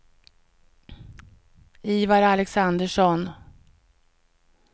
Ivar Alexandersson